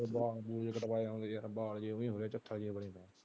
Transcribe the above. ਵਾਲ ਵੂਲ ਜਹੇ ਕਟਵਾਏ ਹੁੰਦੇ ਆ ਉਹ ਵੀ ਬੜੇ .